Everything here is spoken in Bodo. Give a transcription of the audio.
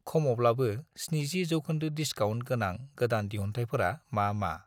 खमावब्लाबो 70 % डिसकाउन्ट गोनां गोदान दिहुनथाइफोरा मा-मा?